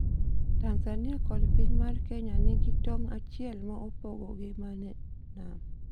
Tanzania kod piny Kenya nigi tong' achiel ma opogogi ma ne nam.